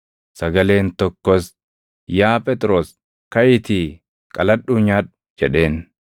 Sagaleen tokkos, “Yaa Phexros, kaʼiitii qaladhuu nyaadhu” jedheen.